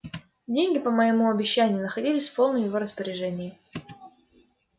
деньги по моему обещанию находились в полном его распоряжении